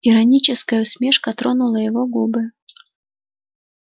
ироническая усмешка тронула его губы